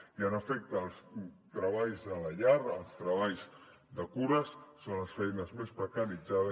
i en efecte els treballs a la llar els treballs de cures són les feines més precaritzades